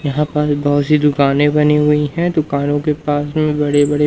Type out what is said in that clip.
यहां पास बहोत सी दुकाने बनी हुई हैं दुकानों के पास में बड़े बड़े--